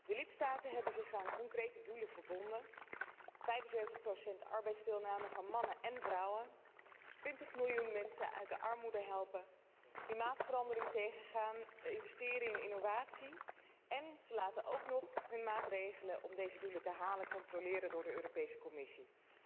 De lidstaten hebben zich aan concrete doelen verbonden 75 arbeidsdeelname van mannen en vrouwen, 20 miljoen mensen uit de armoede helpen, klimaatverandering tegengaan, investeren in innovatie, en ze laten ook nog hun maatregelen om deze doelen te halen controleren door de Commissie.